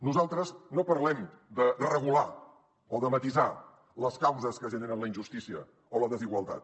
nosaltres no parlem de regular o de matisar les causes que generen la injustícia o la desigualtat